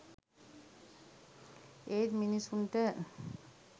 ඒත් මිණිස්සුන්ට